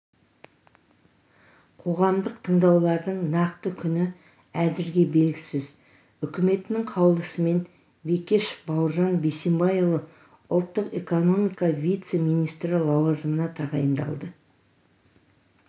қоғамдық тыңдаулардың нақты күні әзірге белгісіз үкіметінің қаулысымен бекешев бауыржан бейсенбайұлы ұлттық экономика вице-министрі лауазымына тағайындалды